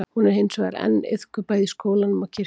hún er hins vegar enn iðkuð bæði í skólanum og kirkjunni